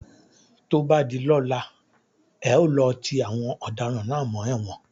Tó bá di ọ̀la, e ó lọ ti àwọn ọ̀daràn náà mọ́ ẹ̀wọ̀n.